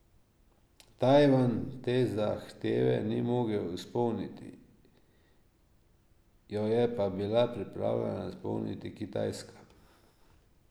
Tajvan te zahteve ni mogel izpolniti, jo je pa bila pripravljena izpolniti Kitajska.